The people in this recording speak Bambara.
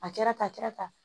A kɛra tan a kɛra tan